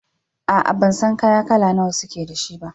A'a, ban san kaya kala nawa suke da shi ba.